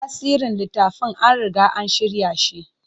Tafsirin littafan an riga an shirya shi.